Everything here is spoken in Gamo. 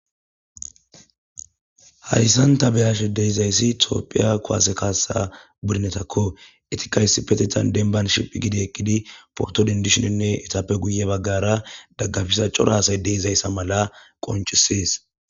Haysan ta be'ashe de'izaysi tophiya kuwase kasa budunetako, etika issipetetan dembani siipe shiphi gidi eqidi poto dendisheninne etappe guye bagara dagafiza cora asayi dizaysa malaqoncosesi.